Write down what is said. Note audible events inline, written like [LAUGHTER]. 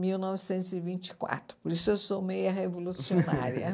mil novecentos e vinte e quatro. Por isso eu sou meia revolucionária. [LAUGHS]